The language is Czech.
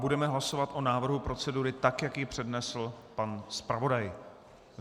Budeme hlasovat o návrhu procedury tak, jak ji přednesl pan zpravodaj.